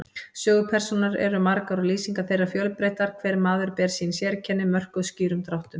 Sögupersónur eru margar og lýsingar þeirra fjölbreyttar, hver maður ber sín sérkenni, mörkuð skýrum dráttum.